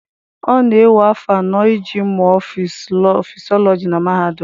Ọ na-ewe afọ anọ iji mụọ fisiọlọjị na mahadum.